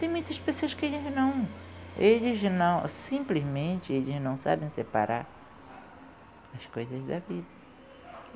Tem muitas pessoas que não, eles não simplesmente não sabem separar as coisas da vida.